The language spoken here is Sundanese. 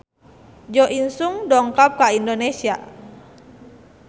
Jo In Sung dongkap ka Indonesia